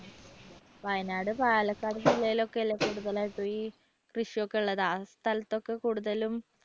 വയനാട് പാലക്കാട് ജില്ലയിൽ ഒക്കെ അല്ലേ കൂടുതലായിട്ടും ഈ കൃഷിയൊക്കെ ഉള്ളത് ആ സ്ഥലത്തൊക്കെ കൂടുതലും